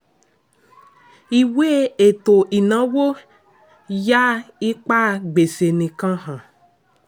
ìwé ètò-ìnáwó yà ipa gbèsè nìkan hàn.